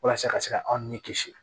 Walasa ka se ka aw ni kisi